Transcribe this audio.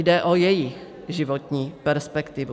Jde o jejich životní perspektivu.